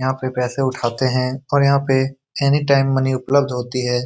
यहां पर पैसे उठाते हैं और यहां पे एनी टाइम मनी उपलब्ध होती हैं।